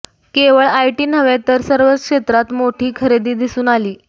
केवळ आयटी नव्हे तर सर्वच क्षेत्रांत मोठी खरेदी दिसून आली